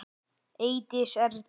Eydís Erla.